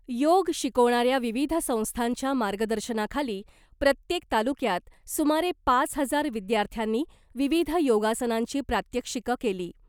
योग शिकवणाऱ्या विविध संस्थांच्या मार्गदर्शनाखाली प्रत्येक तालुक्यात सुमारे पाच हजार विद्यार्थ्यांनी विविध योगासनांची प्रात्यक्षिकं केली .